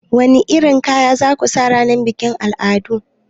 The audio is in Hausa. Wani irin kaya za ku sa ranar bikin al'adu?